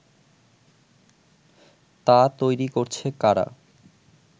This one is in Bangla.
তা তৈরি করছে কারা